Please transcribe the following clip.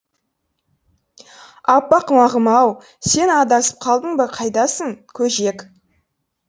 аппақ мағым ау сен адасып қалдың ба қайдасың көжек